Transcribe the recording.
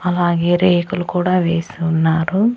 అలాగే రేకులు కూడా వేసి ఉన్నారు.